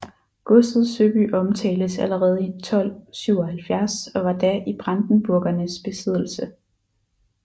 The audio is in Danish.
Godset Søby omtales allerede i 1277 og var da i Brandenburgernes besiddelse